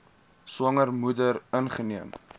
swanger moeder ingeneem